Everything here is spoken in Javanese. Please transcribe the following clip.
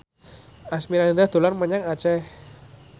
Asmirandah dolan menyang Aceh